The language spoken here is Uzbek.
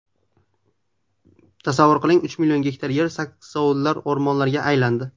Tasavvur qiling, uch million gektar yer saksovulzor o‘rmonlarga aylandi.